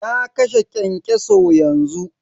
Na kashe kyankyaso yanzu.